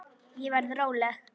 Ég verð róleg.